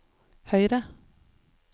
høyre